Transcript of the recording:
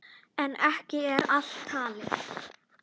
En ekki er allt talið.